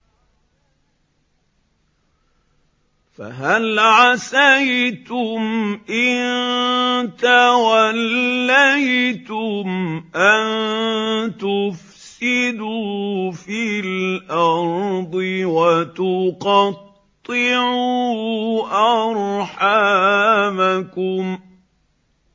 فَهَلْ عَسَيْتُمْ إِن تَوَلَّيْتُمْ أَن تُفْسِدُوا فِي الْأَرْضِ وَتُقَطِّعُوا أَرْحَامَكُمْ